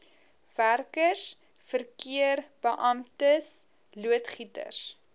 werkers verkeerbeamptes loodgieters